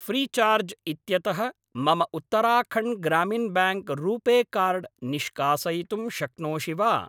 Freecharge इत्यतः मम Uttarakhand Gramin bank RuPay card निष्कासयितुं शक्नोषि वा?